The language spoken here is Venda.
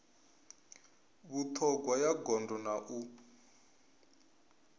vhuṱhogwa ya gondo na u